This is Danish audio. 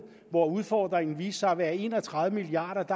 hvor udfordringen viste sig at være på en og tredive milliard